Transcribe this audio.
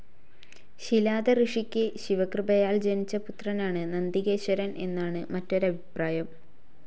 ശിലാദ ഋഷിക്ക് ശിവകൃപയാൽ ജനിച്ച പുത്രനാണ് നന്ദികേശ്വരൻ എന്നാണ് മറ്റൊരഭിപ്രായം.